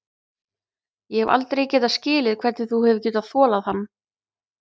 Ég hef aldrei getað skilið hvernig þú hefur getað þolað hann.